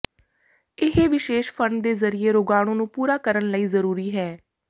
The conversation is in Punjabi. ਇਹ ਵਿਸ਼ੇਸ਼ ਫੰਡ ਦੇ ਜ਼ਰੀਏ ਰੋਗਾਣੂ ਨੂੰ ਪੂਰਾ ਕਰਨ ਲਈ ਜ਼ਰੂਰੀ ਹੈ